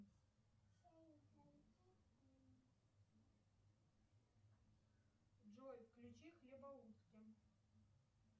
джой включи хлебоутки